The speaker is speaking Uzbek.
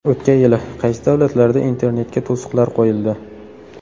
O‘tgan yili qaysi davlatlarda internetga to‘siqlar qo‘yildi?